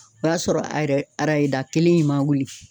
O y'a sɔrɔ a yɛrɛ arayeda kelen in ma wuli